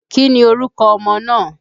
Kí ni orúkọ ọmọ náà?